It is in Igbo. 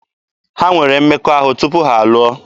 Ha nwere mmekọahụ tupu ha alụọ.